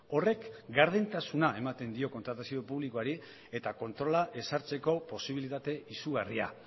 horrek gardentasuna ematen dio kontratazio publikoari eta kontrola ezartzeko posibilitate izugarria